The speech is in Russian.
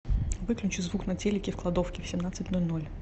выключи звук на телике в кладовке в семнадцать ноль ноль